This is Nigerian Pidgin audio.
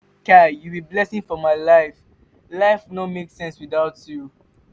kai you be blessing for my life life no make sense without you.